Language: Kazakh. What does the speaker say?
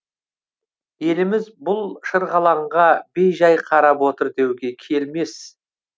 еліміз бұл шырғалаңға бей жай қарап отыр деуге келмес